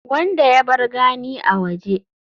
wanda ya bar gani a waje